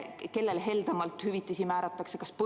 Kellele heldemalt hüvitisi määratakse?